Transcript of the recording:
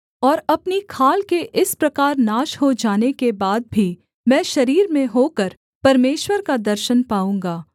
और अपनी खाल के इस प्रकार नाश हो जाने के बाद भी मैं शरीर में होकर परमेश्वर का दर्शन पाऊँगा